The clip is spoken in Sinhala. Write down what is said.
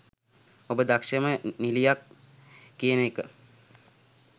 ඔබ දක්ෂම නිලියක් කියන එක